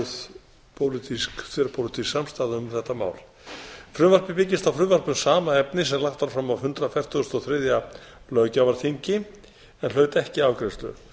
það er því góð þverpólitísk samstaða um þetta mál frumvarpið byggist á frumvarpi um sama efni sem var lagt fram á hundrað fertugasta og þriðja löggjafarþingi en hlaut ekki afgreiðslu